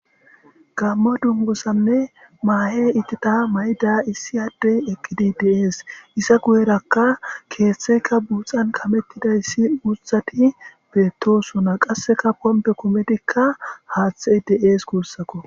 gamma dungosanne maahe itita may7ida issi addey eqqidi dees isa guyerakka keeththeka buuxan kamettidayssi usati beettosuna qasseka pompe kumetikka haaththe dees kuussakko